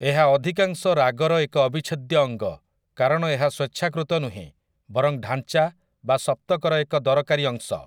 ଏହା ଅଧିକାଂଶ ରାଗର ଏକ ଅବିଚ୍ଛେଦ୍ୟ ଅଙ୍ଗ, କାରଣ ଏହା ସ୍ୱେଚ୍ଛାକୃତ ନୁହେଁ, ବରଂ ଢାଞ୍ଚା ବା ସପ୍ତକର ଏକ ଦରକାରୀ ଅଂଶ ।